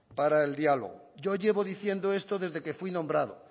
para el diálogo yo llevo diciendo esto desde que fui nombrado